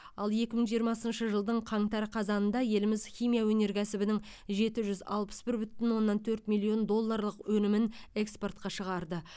ал екі мың жиырмасыншы жылдың қаңтар қазанында еліміз химия өнеркәсібінің жеті жүз алпыс бір бүтін оннан төрт миллион долларлық өнімін экспортқа шығарды